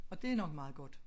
Og det er nok meget godt